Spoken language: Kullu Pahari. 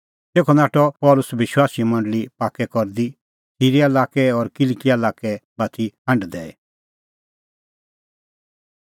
तेखअ नाठअ पल़सी विश्वासीए मंडल़ी पाक्कै करदी सिरीया लाक्कै और किलकिआ लाक्कै बाती हांढ दैई